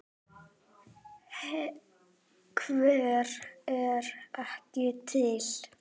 Hver er ekki til?